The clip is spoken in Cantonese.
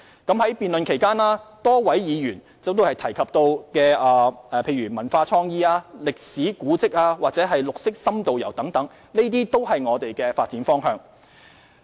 在辯論期間，多位議員提及文化創意、歷史古蹟或綠色深度遊等，這些都是我們的發展方向。